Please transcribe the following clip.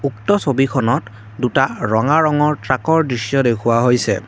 উক্ত ছবিখনত দুটা ৰঙা ৰঙৰ ট্ৰাকৰ দৃশ্য দেখুওৱা হৈছে।